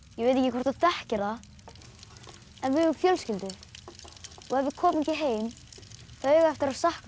ég veit ekki hvort þú þekkir það en við eigum fjölskyldu og ef við komum ekki heim þá eiga þau eftir að sakna